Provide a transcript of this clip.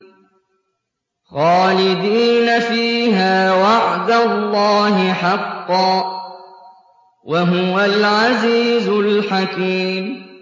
خَالِدِينَ فِيهَا ۖ وَعْدَ اللَّهِ حَقًّا ۚ وَهُوَ الْعَزِيزُ الْحَكِيمُ